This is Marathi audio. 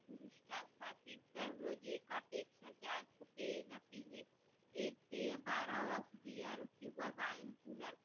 दररोज एकापेक्षा जास्त पेय ना पिणे. एक पेय